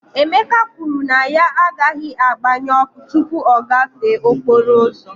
Emeka kwuru na ya agaghị agbanye ọkụ tupu ọ gafee okporo ụzọ